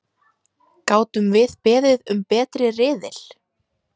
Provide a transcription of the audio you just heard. Gátum við beðið um betri riðil?!